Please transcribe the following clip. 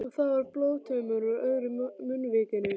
Og það var blóðtaumur úr öðru munnvikinu.